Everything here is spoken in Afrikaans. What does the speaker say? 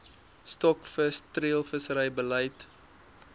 stokvis treilvissery beleid